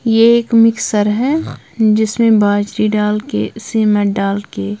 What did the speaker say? ये एक मिक्सर है जिसमें बाजरी डाल के सीमट डाल के--